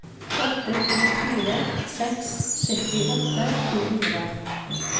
åtte to fire seks syttiåtte to hundre